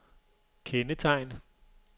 kendetegn